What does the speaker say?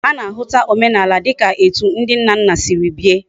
Ana ahuta omenala dika etu ndi nna nna Siri bie